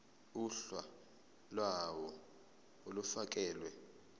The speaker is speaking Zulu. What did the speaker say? uhla lawo olufakelwe